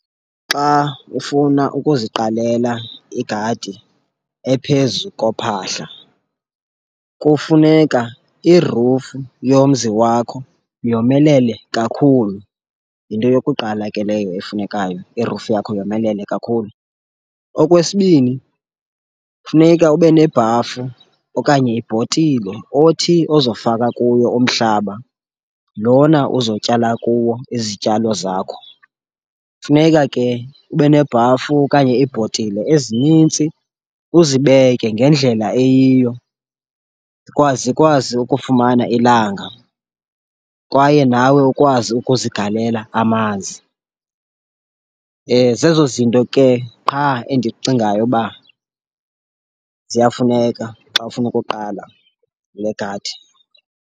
Xa ufuna ukuziqalela igadi ephezu kophahla kufuneka irufu yomzi wakho yomelele kakhulu, yinto yokuqala ke leyo efunekayo, irufu yakho yomelele kakhulu. Okwesibini, funeka ube nebhafu okanye ibhotile othi ozofaka kuyo umhlaba lona uzotyala kuwo izityalo zakho. Funeka ke ube nebhafu okanye iibhotile ezinintsi uzibeke ngendlela eyiyo zikwazi ukufumana ilanga kwaye nawe ukwazi ukuzigalela amanzi. Zezo zinto ke qha endicingayo uba ziyafuneka xa ufuna ukuqala le gadi.